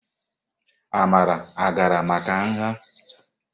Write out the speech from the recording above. Amara gara maka nha?